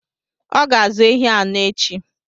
Ọ ga-azụ ehi anọ echi.